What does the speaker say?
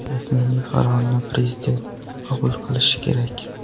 Yakuniy qarorni prezident qabul qilishi kerak.